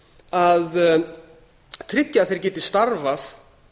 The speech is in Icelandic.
að tryggja að þeir geti starfað